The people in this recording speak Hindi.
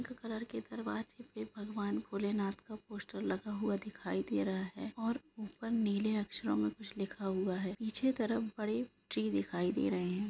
घर के दरवाजे पर भगवान जी शंकर भगवान का पोस्ट दिखाई दे रहा है ऊपर नीले रंग के अक्षर में कुछ लिखा है पीछे तरफ ट्री दिखाई दे रहे है